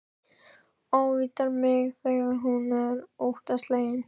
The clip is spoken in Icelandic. Ávítar mig þegar hún er óttaslegin.